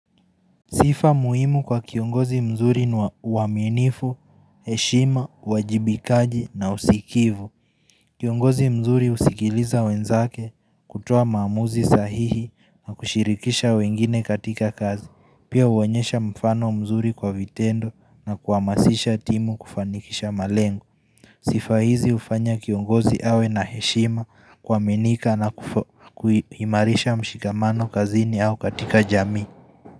Sifa muhimu kwa kiongozi mzuri nuwaminifu, heshima, wajibikaji na usikivu Kiongozi mzuri usikiliza wenzake kutua maamuzi sahihi na kushirikisha wengine katika kazi Pia uonyesha mfano mzuri kwa vitendo na kuamasisha timu kufanikisha malengu Sifa hizi ufanya kiongozi awe na heshima kwa mianika na kuhimarisha mshikamano kazini au katika jami.